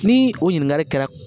Ni o ɲininkali kɛra